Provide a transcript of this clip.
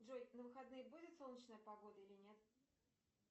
джой на выходные будет солнечная погода или нет